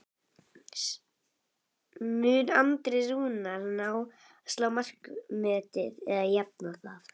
Mun Andri Rúnar ná að slá markametið eða jafna það?